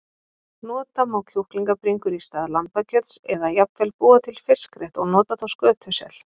Nota má kjúklingabringur í stað lambakjöts eða jafnvel búa til fiskrétt og nota þá skötusel.